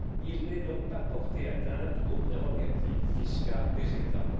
Il n'est donc pas porté atteinte aux prérogatives fiscales des États.